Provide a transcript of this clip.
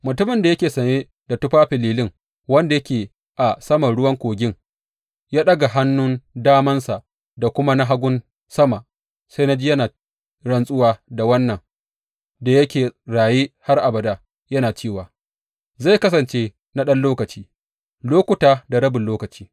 Mutumin da yake sanye da tufafin lilin, wanda yake a saman ruwan kogin, ya ɗaga hannun damansa da kuma na hagunsa sama, sai na ji yana rantsuwa da wannan da yake raye har abada, yana cewa, Zai kasance na ɗan lokaci, lokuta da rabin lokaci.